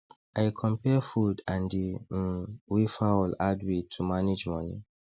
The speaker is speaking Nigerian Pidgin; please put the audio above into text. i compare food and di um way fowl add weight to manage money